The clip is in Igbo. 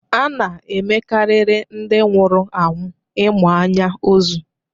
A na -emekarịrị ndị nwụrụ anwụ ịmụ anya ozu.